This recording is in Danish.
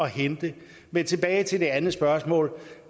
hente men tilbage til det andet spørgsmål